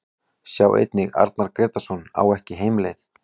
Sjá einnig: Arnar Grétarsson ekki á heimleið